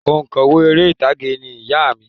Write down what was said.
Oǹkọ̀wé eré ìtàgé ni ìyá à mi